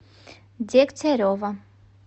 дегтярева